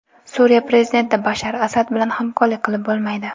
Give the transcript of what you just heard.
Suriya prezidenti Bashar Asad bilan hamkorlik qilib bo‘lmaydi.